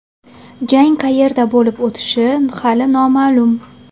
Jang qayerda bo‘lib o‘tishi hali noma’lum.